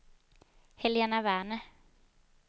Helena Werner